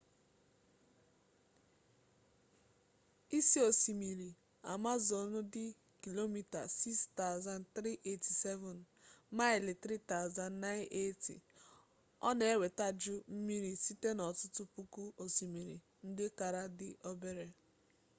isi osimiri amazọnụ dị km 6,387 maịlị 3,980. ọ na-ewetaju mmiri site n’ọtụtụ puku osimiri ndị kara di obere